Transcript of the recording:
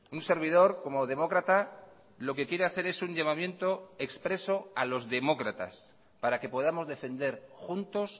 un servidor como demócrata lo que quiere hacer es un llamamiento expreso a los demócratas para que podamos defender juntos